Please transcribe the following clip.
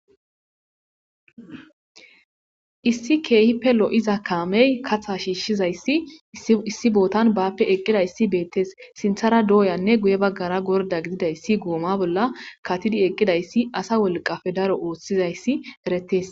Issi keehippe lo'iza kaamey katha shiishshizayssi issi bootan baappe eqqidayssi beettes sinthara dooyanne guye baggara gorda gididayssi gooma bolla katidi eqqidayssi asa wolqafe daro oothshizayssi eretes.